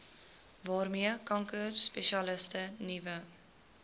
waarmee kankerspesialiste nuwe